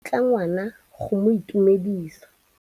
ngwana go mo itumedisa.